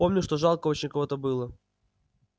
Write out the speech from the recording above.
помню что жалко очень кого-то было